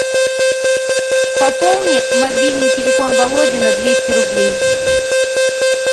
пополни мобильный телефон володи на двести рублей